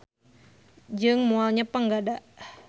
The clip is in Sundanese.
Jeung moal nyepeng gada.